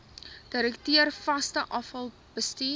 direkteur vaste afvalbestuur